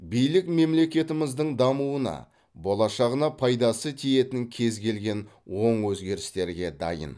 билік мемлекетіміздің дамуына болашағына пайдасы тиетін кез келген оң өзгерістерге дайын